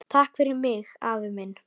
Takk fyrir mig, afi minn.